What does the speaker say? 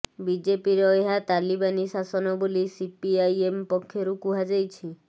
ବିଜେପିର ଏହା ତାଲିବାନୀ ଶାସନ ବୋଲି ସିପିଆଇଏମ ପକ୍ଷରୁ କୁହାଯାଇଛି